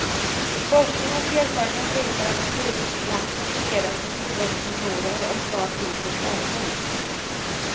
Forskning och erfarenhet visar att flygplatser fungerar som tillväxtmotorer och drar till sig företag.